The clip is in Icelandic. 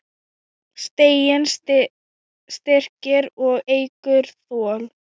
Stiginn styrkir og eykur þol.